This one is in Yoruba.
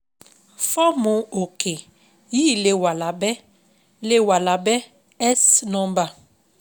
Fọ́ọ̀mù òkè yìí lè wà lábẹ́, lè wà lábẹ́ S nọ́ḿbà